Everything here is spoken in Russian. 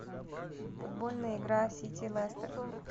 футбольная игра сити лестер